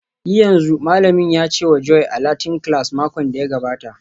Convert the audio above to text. Yi yanzu!, Malamin ya ce wa Joy a Latin class makon da ya gabata